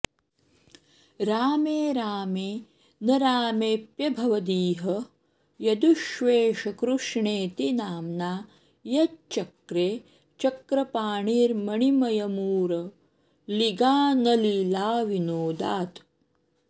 रामे रामे न रामेऽप्यभवदिह यदुष्वेष कृष्णेति नाम्ना यच्चक्रे चक्रपाणिर्मणिमयमुरलीगानलीलाविनोदात्